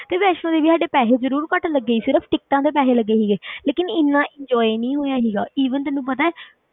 ਤੇ ਵੈਸ਼ਨੋ ਦੇਵੀ ਸਾਡੇ ਪੈਸੇ ਜ਼ਰੂਰ ਘੱਟ ਲੱਗੇ ਸੀ, ਸਿਰਫ਼ ਟਿੱਕਟਾਂ ਤੇ ਪੈਸੇ ਲੱਗੇ ਸੀਗੇ ਲੇਕਿੰਨ ਇੰਨਾ enjoy ਨਹੀਂ ਹੋਇਆ ਸੀਗਾ even ਤੈਨੂੰ ਪਤਾ ਹੈ,